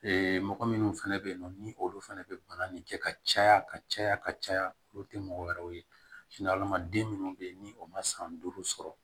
mɔgɔ minnu fɛnɛ bɛ yen nɔ ni olu fana bɛ bana nin kɛ ka caya ka caya ka caya olu tɛ mɔgɔ wɛrɛw ye den minnu bɛ yen ni o ma san duuru sɔrɔ